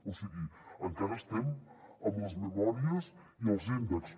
o sigui encara estem amb les memòries i els índexs